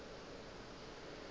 ge e be e sa